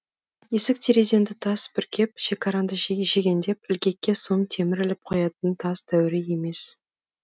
есік терезеңді тас бүркеп шекараңды шегендеп ілгекке сом темір іліп қоятын тас дәуірі емес